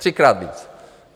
Třikrát víc.